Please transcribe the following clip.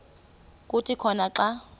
kuthi khona xa